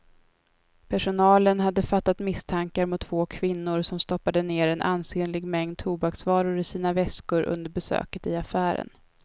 Personalen hade fattat misstankar mot två kvinnor som stoppade ner en ansenlig mängd tobaksvaror i sina väskor under besöket i affären.